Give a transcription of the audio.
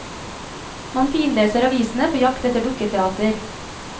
Man finleser avisene på jakt etter dukketeater.